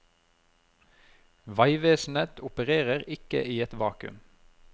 Veivesenet opererer ikke i et vakuum.